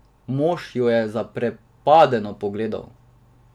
Mož jo je zaprepadeno pogledal.